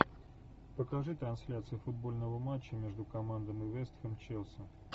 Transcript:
покажи трансляцию футбольного матча между командами вест хэм челси